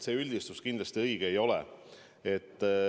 See üldistus kindlasti õige ei ole.